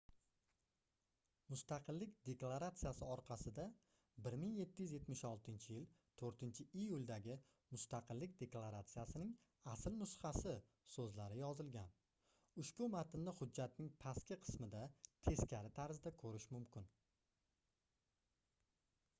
mustaqillik deklaratsiyasi orqasida 1776-yil 4-iyuldagi mustaqillik deklaratsiyasining asl nusxasi soʻzlari yozilgan ushbu matnni hujjatning pastki qismida teskari tarzda koʻrish mumkin